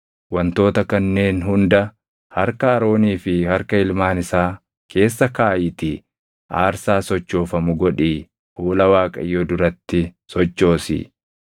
Wantoota kanneen hunda harka Aroonii fi harka ilmaan isaa keessa kaaʼiitii aarsaa sochoofamu godhii fuula Waaqayyoo duratti sochoosi.